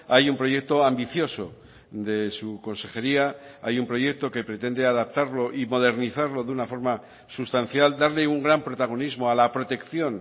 hay un proyecto ambicioso de su consejería hay un proyecto que pretende adaptarlo y modernizarlo de una forma sustancial darle un gran protagonismo a la protección